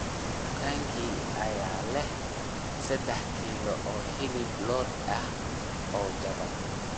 dukaankee ayaa leh saddex kiilo oo hilib lo'aad ah oo jaban